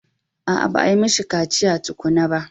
A'a, ba a yi mishi kaciya ko ba.